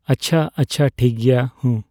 ᱟᱪᱪᱷᱟ, ᱟᱪᱪᱷᱟ, ᱴᱷᱤᱠᱜᱮᱭᱟ᱾ ᱦᱩᱸ᱾